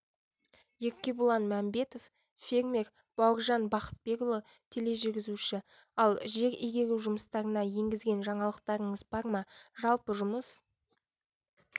еркебұлан мәмбетов фермер бауыржан бақытбекұлы тележүргізуші ал жер игеру жұмыстарына енгізген жаңалықтарыңыз бар ма жалпы жұмыс